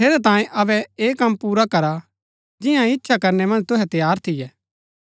ठेरैतांये अबै ऐह कम पुरा करा कि जियां इच्छा करनै मन्ज तुहै तैयार थियै